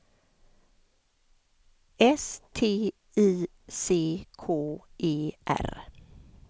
S T I C K E R